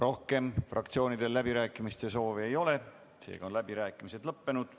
Rohkem fraktsioonidel läbirääkimiste soovi ei ole, seega on läbirääkimised lõppenud.